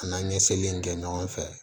An n'an ye seli in kɛ ɲɔgɔn fɛ